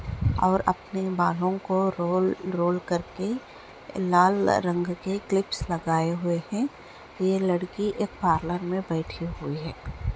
और अपने बालों को रोल रोल करके लाल रंग के क्लिप्स लगाए हुए हैं यह लड़की एक पार्लर में बैठी हुई है।